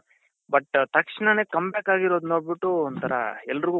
but ತಕ್ಷಣಾನೇ come back ಆಗಿರದು ನೋಡ್ಬುಟ್ಟು ಒಂತರ ಎಲ್ಲರ್ಗೂ